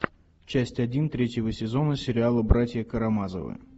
часть один третьего сезона сериала братья карамазовы